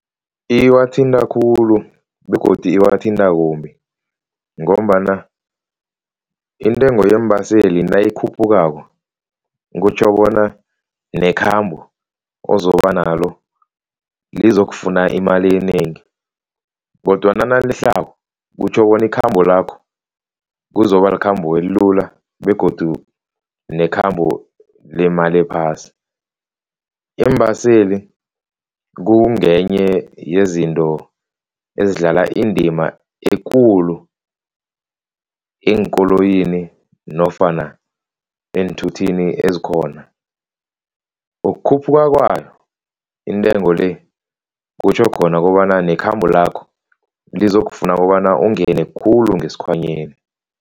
Iwathinta khulu begodu iwathinta kumbi ngombana intengo yeembaseli nayikhuphukako kutjho bona nekhambo ozobanalo lizokufuna imali enengi kodwana nalehlako kutjho bona ikhambo lakho kuzoba likhambo elula begodu nekhambo lemali ephasi. Iimbaseli kungenye yezinto ezidlala indima ekulu eenkoloyini nofana eenthuthini ezikhona, ukukhuphuka kwayo intengo le kutjho khona kobana nekhambo lakho lizokufuna kobana ungene khulu ngesikhwanyeni.